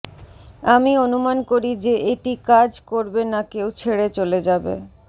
আমি অনুমান করি যে এটি কাজ করবে না কেউ ছেড়ে চলে যাবে